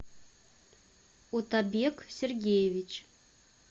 утабек сергеевич